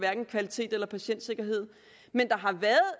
kvalitet eller patientsikkerhed men der har været